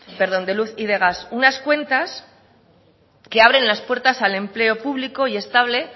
perdón de luz y de gas unas cuentas que abren las puertas al empleo público y estable